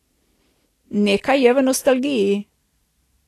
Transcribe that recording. Nekaj je v nostalgiji.